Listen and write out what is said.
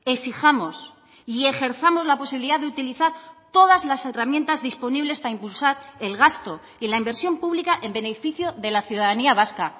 exijamos y ejerzamos la posibilidad de utilizar todas las herramientas disponibles para impulsar el gasto y la inversión pública en beneficio de la ciudadanía vasca